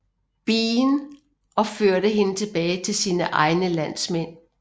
Bean og førte hende tilbage til sine egne landsmænd